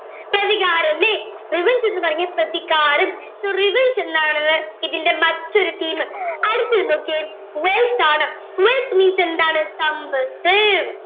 പ്രതികാരം അല്ലെ revenge എന്ന് പറഞ്ഞാ പ്രതികാരം so revenge എന്താണെന്ന് ഇതിന്റെ മറ്റൊരു theme അടുത്തത് നോക്കിയേ wealth ആണ് wealth means എന്താണ് സമ്പത്ത്